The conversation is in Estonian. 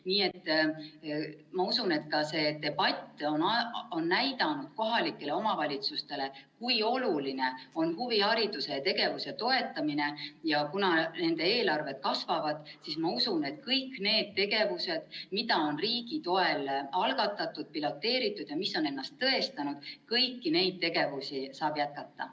Nii et ma usun, et ka see debatt on näidanud kohalikele omavalitsustele, kui oluline on huvihariduse ja ‑tegevuse toetamine, ja kuna nende eelarved kasvavad, siis ma usun, et kõiki neid tegevusi, mida on riigi toel algatatud, piloteeritud ja mis on ennast tõestanud, saab jätkata.